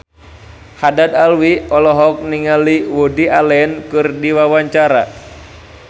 Haddad Alwi olohok ningali Woody Allen keur diwawancara